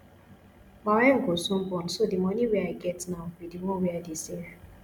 my wife go soon born so the money wey i get now be the one wey i dey save